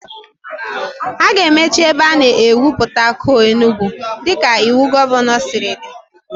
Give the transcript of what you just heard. A ga-emechi ebe a na-egwupụta coal Enugwu dịka iwu gọvanọ siri dị